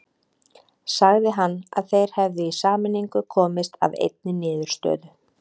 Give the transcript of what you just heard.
Sagði hann að þeir hefðu í sameiningu komist að einni niðurstöðu.